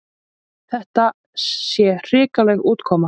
Þetta sé hrikaleg útkoma.